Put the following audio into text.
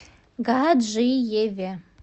гаджиеве